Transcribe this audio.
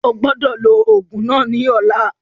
Ogbọ́dọ̀ lò òògùn náà ní ọ̀la